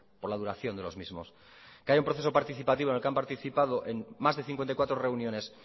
por la duración de los mismos que haya un proceso participativo en el que han participado más de cincuenta y cuatro reuniones